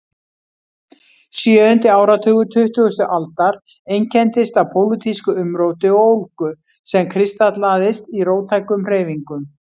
Sjöundi áratugur tuttugustu aldar einkenndist af pólitísku umróti og ólgu sem kristallaðist í róttækum hreyfingum.